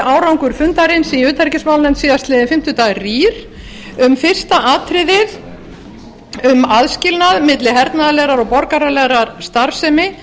árangur fundarins í utanríkismálanefnd síðastliðinn fimmtudag rýr um fyrsta atriðið um aðskilnað milli hernaðarlegrar og borgaralegrar starfsemi